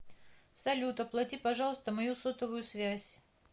салют оплати пожалуйста мою сотовую связь